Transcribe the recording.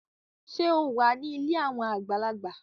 Ṣe o wá ní ilé awọn àgbàlagbà?